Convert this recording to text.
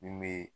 Min be